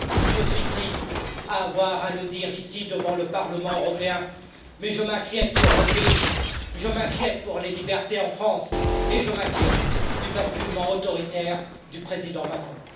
Je suis triste d'avoir à le dire ici, devant le Parlement européen, mais je m'inquiète pour mon pays, je m'inquiète pour les libertés en France et je m'inquiète du basculement autoritaire du président Macron.